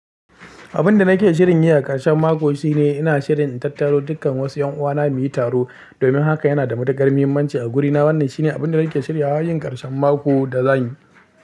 Abin da nake shirin yi a karshen mako shine ina shirin in tattaro dukkan wasu 'yan uwana mu yi taro. Domin haka yana da matukar muhimmanci a gurina wannan shine abin da nake shirya yin karshen mako da zanyi.